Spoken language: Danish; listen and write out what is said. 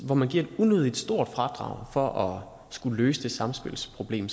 hvor man giver et unødig stort fradrag for skulle løse det samspilsproblem